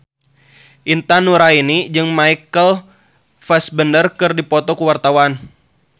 Intan Nuraini jeung Michael Fassbender keur dipoto ku wartawan